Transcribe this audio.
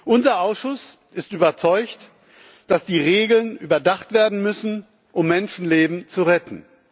Unser Ausschuss ist überzeugt davon, dass die Regeln überdacht werden müssen, um Menschenleben zu retten.